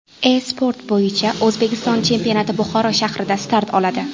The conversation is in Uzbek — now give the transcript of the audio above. E-sport bo‘yicha O‘zbekiston chempionati Buxoro shahrida start oladi .